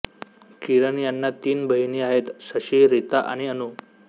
किरण यांना तीन बहिणी आहेत शशी रीता आणि अनु